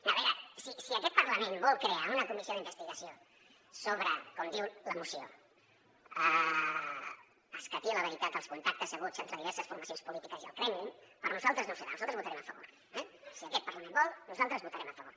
a veure si aquest parlament vol crear una comissió d’investigació sobre com diu la moció escatir la veritat dels contactes haguts entre diverses formacions polítiques i el kremlin per nosaltres no serà nosaltres hi votarem a favor eh si aquest parlament vol nosaltres hi vo·tarem a favor